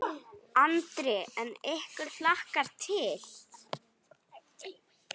Andri: En ykkur hlakkar til?